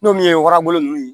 N'o ye warabolo ninnu ye